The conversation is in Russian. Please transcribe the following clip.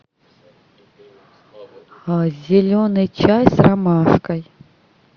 зеленый чай с ромашкой